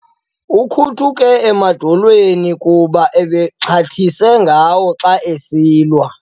Ukhuthuke emadolweni kuba uxhathise ngawo xa ebesilwa.